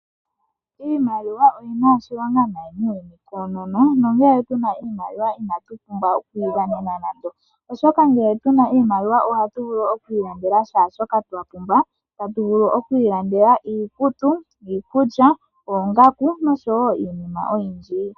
Iimaliwa oyi na oshilonga nayi noonkondo nongele tu na oshimaliwa inatu okuyi dhanena nando oshoka ngele tu na iimaliwa ohatu vulu okwiilandela shaashoka twa pumbwa. Hatu vulu oku ilandela iikutu, iikulya, oongaku nosho wo iinima oyindji.